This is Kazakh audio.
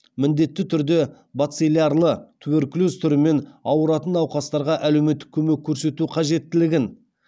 міндетті түрде бациллярлы туберкулез түрімен ауыратын науқастарға әлеуметтік көмек көрсету қажеттілігін